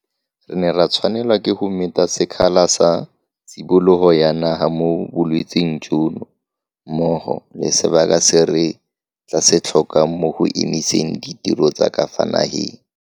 Fa puso ya tlhaolele e ne e phutlhama, beng ba dikgwebo tse di leng mo lenaaneng la go gwebisana la JSE tseo e leng tsa bathobantsho ba ne ba le bontsinyanafela jwa ka fa tlase ga phesente e le nngwe.